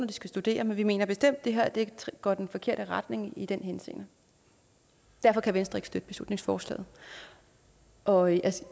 de skal studere men vi mener bestemt det her går i den forkerte retning i den henseende derfor kan venstre ikke støtte beslutningsforslaget og